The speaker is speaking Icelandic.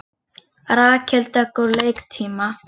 Rakel Dögg úr leik um tíma